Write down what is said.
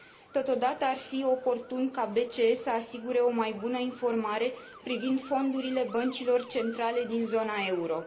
Totodată, ar fi oportun ca BCE să asigure o mai bună informare privind fondurile băncilor centrale din zona euro.